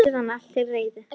Síðan er allt til reiðu.